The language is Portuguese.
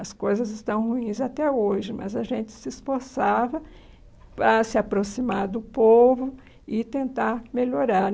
As coisas estão ruins até hoje, mas a gente se esforçava para se aproximar do povo e tentar melhorar.